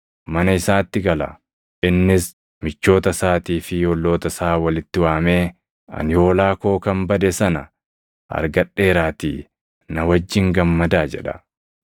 mana isaatti gala. Innis michoota isaatii fi olloota isaa walitti waamee, ‘Ani hoolaa koo kan bade sana argadheeraatii na wajjin gammadaa’ jedha.